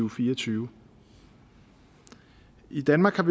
og fire og tyve i danmark har